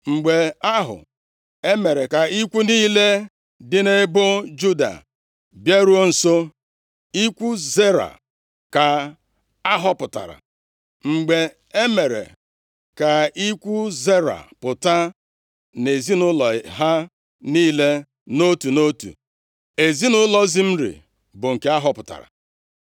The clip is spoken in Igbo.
Mgbe ahụ, e mere ka ikwu niile dị nʼebo Juda bịaruo nso, ikwu Zera ka ahọpụtara. Mgbe e mere ka ikwu Zera pụta nʼezinaụlọ ha niile nʼotu nʼotu, ezinaụlọ Zimri bụ nke ahọpụtara.